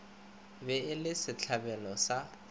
be e le setlabelo sa